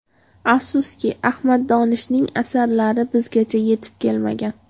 Afsuski, Ahmad Donishning asarlari bizgacha yetib kelmagan.